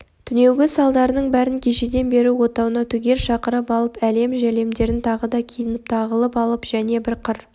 түнеугі салдарының бәрін кешеден бері отауына түгел шақырып алып әлем-жәлемдерін тағы да киініп тағынып алып және бір қыр